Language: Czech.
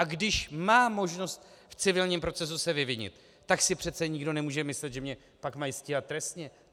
A když mám možnost v civilním procesu se vyvinit, tak si přece nikdo nemůže myslet, že mě pak mají stíhat trestně.